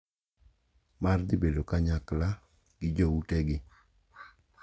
Mar dhi bedo kanyakla gi joutegi.